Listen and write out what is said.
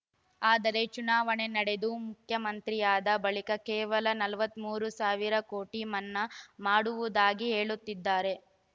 ಆದರೆ ಚುನಾವಣೆ ನಡೆದು ಮುಖ್ಯಮಂತ್ರಿಯಾದ ಬಳಿಕ ಕೇವಲ ನಲವತ್ತ್ ಮೂರು ಸಾವಿರ ಕೋಟಿ ಮನ್ನಾ ಮಾಡುವುದಾಗಿ ಹೇಳುತ್ತಿದ್ದಾರೆ